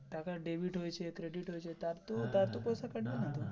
টাকা debit হয়েছে credit হয়েছে তার তো তার তো পয়সা কাটবে না